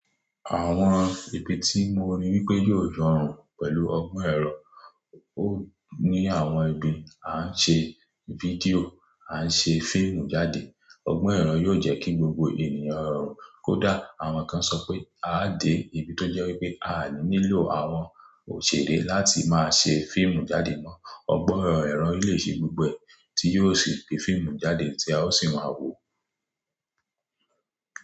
Àwọn ibi tí mo rí wípé yóò rọrùn pẹ̀lú ọgbọ́n ẹ̀rọ, ó ní àwọn ibi a ń ṣe fídíò, a ń ṣe fíìmù jáde. Ọgbọ́n ẹ̀rọ yóò jẹ́ kí gbogbo ènìyàn rọrùn, kódà àwọn kan sọ pé a dé ibi tó jẹ́ wípé a ní lílo àwọn òṣèré láti máa ṣe fíìmù jáde mọ́. Ọgbọ́n ẹ̀rọ lè ṣe gbígbẹ tí yóò sì gbé fíìmù jáde tí a ó sì máa wò ó.